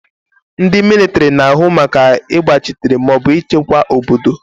Ndị mịlịtịrị na-ahụ maka ịgbachitere maọbụ ịchekwa obodo.